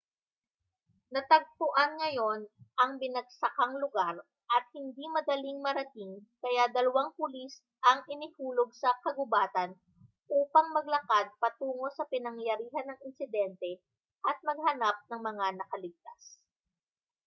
natagpuan ngayon ang binagsakang lugar at hindi madaling marating kaya dalawang pulis ang inihulog sa kagubatan upang maglakad patungo sa pinangyarihan ng insidente at maghanap ng mga nakaligtas